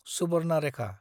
Subarnarekha